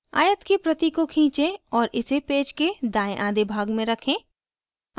आयत की प्रति को खींचें और इसे पेज के दायें आधे भाग में रखें